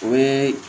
O ye